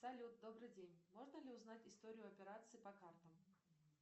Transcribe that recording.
салют добрый день можно ли узнать историю операций по картам